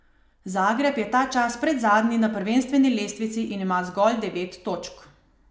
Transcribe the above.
Zagreb je ta čas predzadnji na prvenstveni lestvici in ima zgolj devet točk.